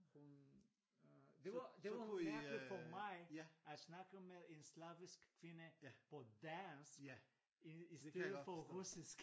Hun øh det var det var mærkeligt for mig at snakke med en slavisk kvinde på dansk i stedet for russisk